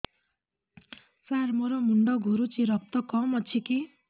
ସାର ମୋର ମୁଣ୍ଡ ଘୁରୁଛି ରକ୍ତ କମ ଅଛି କି